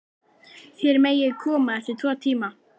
Þér megið koma eftir tvo tíma.